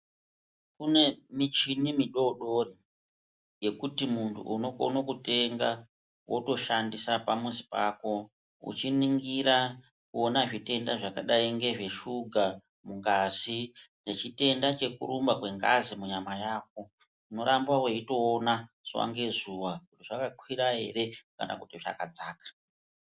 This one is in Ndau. Kune michini midoodori yekuti muntu unokona kutenga wotoshandisa pamuzi pako uchiningira zvitenda zvakadayi ngezveshuga mungazi nechitenda chekurumba kwengazi munyama yako unoramba weitoona zuwa ngezuwa kuti zvakakwira ere kana zvakadzaka.